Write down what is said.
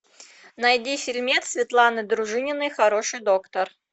найди фильмец светланы дружининой хороший доктор